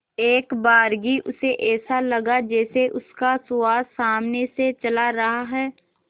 एकबारगी उसे ऐसा लगा जैसे उसका सुहास सामने से चला रहा है